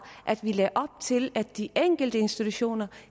at den lagde op til at de enkelte institutioner